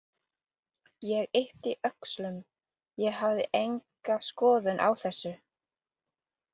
Ég yppti öxlum, ég hafði enga skoðun á þessu.